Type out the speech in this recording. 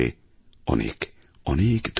অনেক অনেক ধন্যবাদ